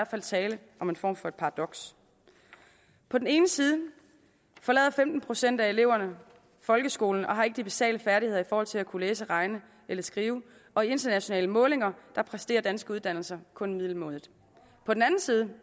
fald tale om en form for paradoks på den ene side forlader femten procent af eleverne folkeskolen og har ikke de basale færdigheder i forhold til at kunne læse regne eller skrive og i internationale målinger præsterer danske uddannelser kun middelmådigt på den anden side